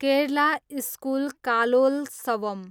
Kerala school Kalolsavam